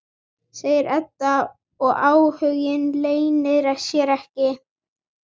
segir Edda og áhuginn leynir sér ekki.